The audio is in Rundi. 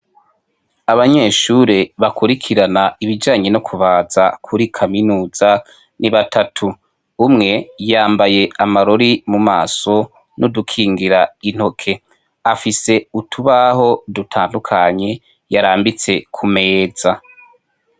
Abanyeshure bakurikirana ibijanye no kubaza kuri kaminuza ni batatu umwe yambaye amarori mu maso n'udukingira intoke afise utubaho dutandukanye yarambitse ku meza.